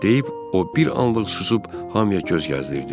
deyip o bir anlıq susub hamıya göz gəzdirdi.